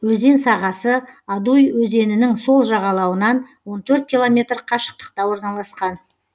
өзен сағасы адуй өзенінің сол жағалауынан он төрт километр қашықтықта орналасқан